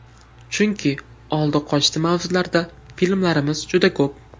Chunki oldi-qochdi mavzularda filmlarimiz juda ko‘p.